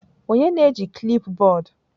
Onye na-eji klipbọọdụ?